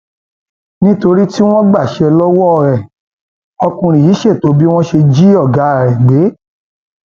nítorí tí wọn gbaṣẹ lọwọ ẹ ọkùnrin yìí ṣètò bí wọn ṣe jí ọgá ẹ gbé